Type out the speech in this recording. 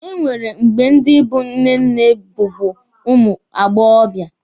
E nwere mgbe ndi bụ nnenne bụbu ụmụ agbọbịa